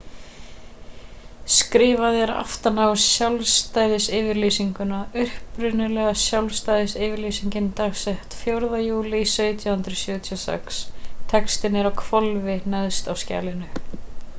skrifað er aftan á sjálfstæðisyfirlýsinguna upprunalega sjálfstæðisyfirlýsingin dagsett 4. júlí 1776 textinn er á hvolfi neðst á skjalinu